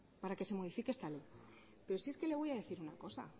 pero si es que le voy a decir una cosa